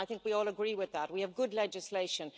I think we all agree with that we have good legislation.